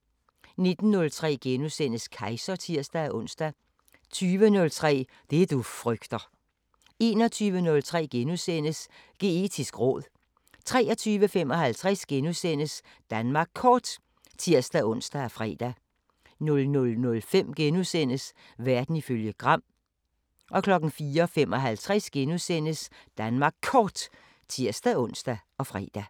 19:03: Kejser *(tir-ons) 20:03: Det du frygter 21:03: Geetisk råd * 23:55: Danmark Kort *(tir-ons og fre) 00:05: Verden ifølge Gram * 04:55: Danmark Kort *(tir-ons og fre)